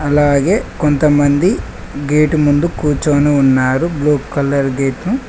అలాగే కొంతమంది గేటు ముందు కూర్చొని ఉన్నారు బ్లూ కలర్ గేట్ను .